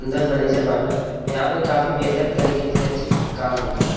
अंदर मनेजर बाट। यहाँ पर काफी बेहतर तरीके से अछि काम होत बा।